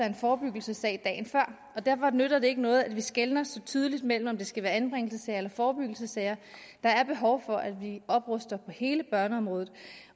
en forebyggelsessag derfor nytter det ikke noget at vi skelner så tydeligt mellem om det skal være anbringelsessager eller forebyggelsessager der er behov for at vi opruster på hele børneområdet